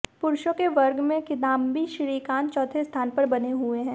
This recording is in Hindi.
पुरूषों के वर्ग में किदाम्बी श्रीकांत चौथे स्थान पर बने हुए हैं